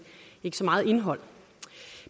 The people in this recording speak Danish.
ikke med så meget indhold